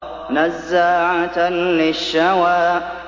نَزَّاعَةً لِّلشَّوَىٰ